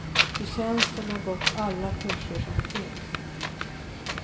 Det känns som jag gått alla kurser som finns.